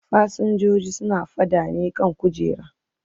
Fasinjojin suna faɗa ne kan kujera.